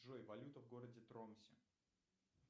джой валюта в городе тромсе